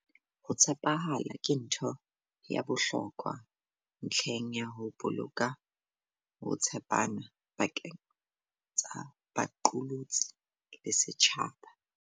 Ho tshepahala ke ntho ya bohlokwa ntlheng ya ho boloka ho tshepana pakeng tsa baqolotsi le setjhaba.